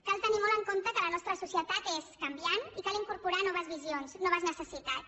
cal tenir molt en compte que la nostra societat és canviant i cal incorporar hi noves visions noves necessitats